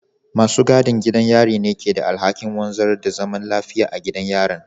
Masu gadin gidan yari ne ke da alhakin wanzar da zaman lafiya a gidan yarin